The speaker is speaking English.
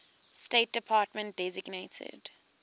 state department designated